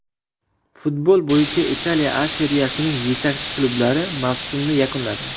Futbol bo‘yicha Italiya A seriyasining yetakchi klublari mavsumni yakunladi.